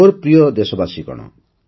ମୋର ପ୍ରିୟ ଦେଶବାସୀଗଣ